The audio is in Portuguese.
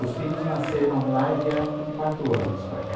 Os filhos nasceram lá e vieram com quatro anos para cá.